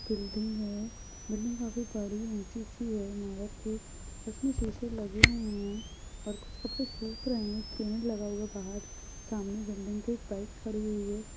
Building है building काफी बड़ी ऊँची सी है इमारत सी उसमे शीशे लगे हुए है और कुछ कपडे सुख रहे है पेंट लगा हुआ है बाहर सामने बिल्डिंग के बाइक ख़ड़ी हुयी है।